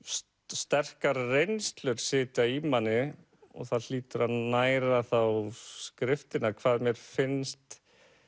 sterkari reynslur sitja í manni og það hlýtur að næra þá skriftina hvað mér finnst